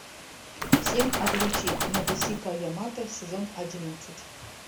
семь обличий надэсико ямато сезон одиннадцать